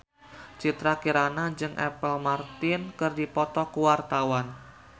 Citra Kirana jeung Apple Martin keur dipoto ku wartawan